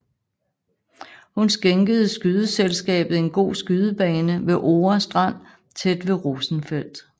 Hun skænkede skydeselskabet en god skydebane ved Ore Strand tæt ved Rosenfeldt